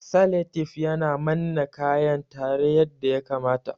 Saletif yana manna kayan tare yadda ya kamata